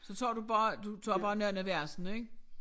Så tager du bare du tager bare nogle af versene ik?